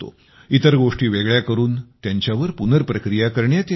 इतर गोष्टी वेगळ्या करून त्यांच्यावर पुनर्प्रक्रिया करण्यात येते